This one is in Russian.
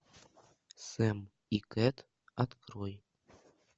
сэм и кэт открой